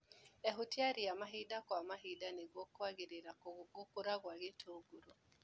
Ehutia ria mahinda kwa mahinda nĩguo kwagĩria gũkũra gwa itũngũrũ.